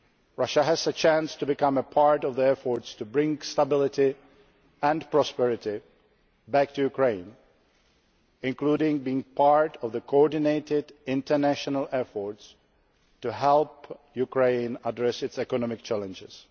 Russia has a chance to become part of the effort to bring stability and prosperity back to Ukraine, including being part of the coordinated international effort to help Ukraine address its economic challenges.